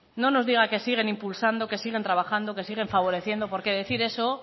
no nos diga que siguen impulsando que siguen trabajando que siguen favoreciendo porque decir eso